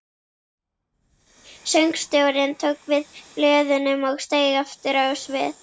Söngstjórinn tók við blöðunum og steig aftur á svið.